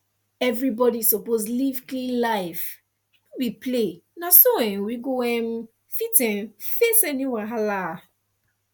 everybody suppose live clean life no be play na so um we go um fit um face any wahala